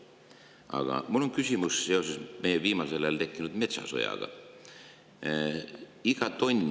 Aga mul on küsimus meil viimasel ajal tekkinud metsasõja kohta.